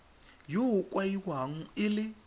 yo o kaiwang e le